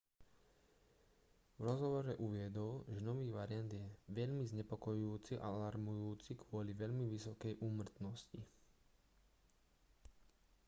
v rozhovore uviedol že nový variant je veľmi znepokojujúci a alarmujúci kvôli veľmi vysokej úmrtnosti